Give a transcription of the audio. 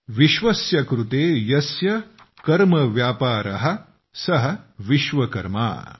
विश्वम कृत सन्म कर्मव्यापारः यस्य सः विश्वकर्मा ।